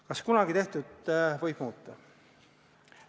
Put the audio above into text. Kas kunagi tehtut võib muuta?